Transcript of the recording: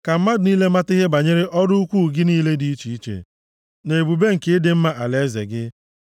ka mmadụ niile mata ihe banyere ọrụ ukwuu gị niile dị iche iche na ebube nke ịdị mma alaeze gị.